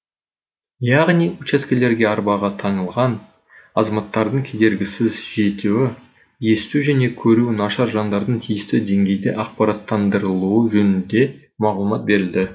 яғни учаскелерге арбаға таңылған азаматтардың кедергісіз жетуі есту және көруі нашар жандардың тиісті деңгейде ақпараттандырылуы жөнінде мағлұмат берілді